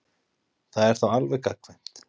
Það er þá alveg gagnkvæmt.